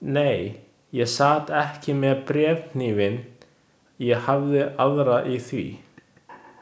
Nei, ég sat ekki með bréfhnífinn, ég hafði aðra í því.